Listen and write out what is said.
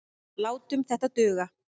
Látum þetta duga.